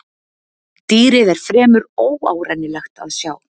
Dýrið er fremur óárennilegt að sjá.